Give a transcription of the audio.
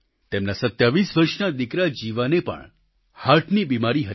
તેમના 27 વર્ષનો દિકરા જીવાને પણ હાર્ટની બિમારી હતી